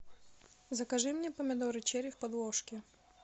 закажи мне помидоры черри в подложке